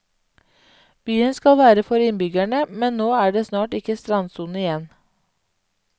Byen skal være for innbyggerne, men nå er det snart ikke strandsone igjen.